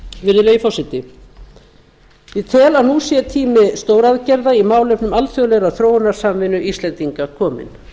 virðulegi forseti ég tel að nú sé tími stóraðgerða í málefnum alþjóðlegrar þróunarsamvinnu íslendinga kominn